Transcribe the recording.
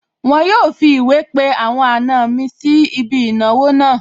Wọn yóò fi ìwé pe àwọn àna mi sí ibi ìnáwó náà